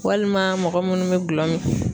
Walima mɔgɔ munnu be gulɔ mi